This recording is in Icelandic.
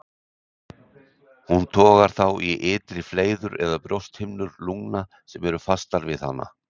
Hún togar þá í ytri fleiðrur eða brjósthimnur lungna sem eru fastar við hana.